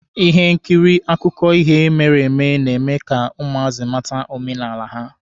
Ihe nkiri akụkọ ihe mere eme na-eme ka ụmụazị mata omenala ha.